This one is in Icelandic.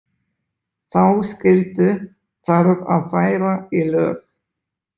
Þá skyldu þarf að færa í lög.